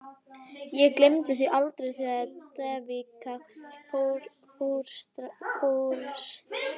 Ég gleymi því aldrei, þegar Devika fórst.